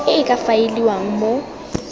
e e ka faeliwang mo